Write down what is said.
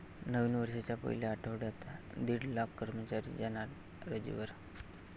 नवीन वर्षाच्या पहिल्या आठवड्यात दीड लाख कर्मचारी जाणार रजेवर!